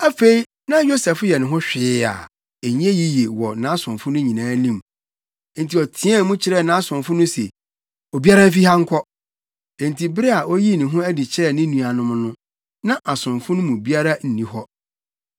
Afei, na Yosef yɛ ne ho hwee a, ɛnyɛ yiye wɔ nʼasomfo no nyinaa anim. Enti ɔteɛɛ mu kyerɛɛ nʼasomfo no se, “Obiara mfi ha nkɔ.” Enti bere a oyii ne ho adi kyerɛɛ ne nuanom no, na asomfo no mu biara nni hɔ.